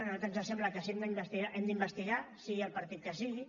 a nosaltres ens sembla que si hem d’investigar hem d’investigar sigui el partit que sigui